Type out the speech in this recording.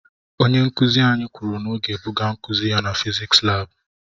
Okwu nkuzi anyị kwuru na ọ ga-ebuga nkuzi ya na fịzịksi laabu.